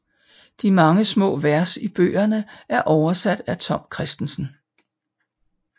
De mange små vers i bøgerne er oversat af Tom Kristensen